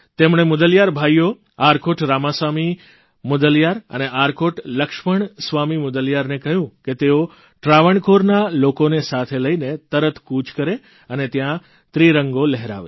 તેમણે મુદલીયાર ભાઇઓ આર્કોટ રામાસામી મુદલીયાર અને આર્કોટ લક્ષ્મણ સ્વામી મુદલીયારને કહ્યું કે તેઓ ત્રાણવણકોરના લોકોને સાથે લઇને તરત કૂચ કરે અને ત્યાં ત્રિરંગો લહેરાવે